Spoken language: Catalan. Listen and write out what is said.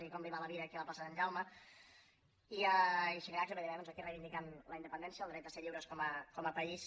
i com li va la vida aquí a la plaça de sant jaume i xirinacs li va dir bé doncs aquí reivindicant la independència el dret a ser lliures com a país